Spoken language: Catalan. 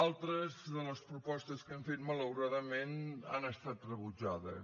altres de les propostes que hem fet malauradament han estat rebutjades